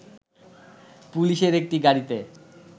পুলিশের একটি গাড়িতে